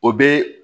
O bɛ